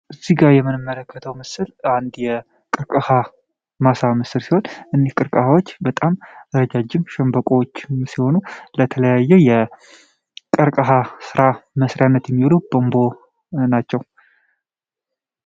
እዚጋ ምንመለከተው ምስል አንድ የቀርቀሃ ማሳ ሲሆን እነዚህ ቀርቀሃዎች ረጃጅም ሸንበቆ ሲሆኑ የተለያዩ የቀርቀሃ ስራዎችን ለመስራት የሚውሉ ቱቦ ናቸው።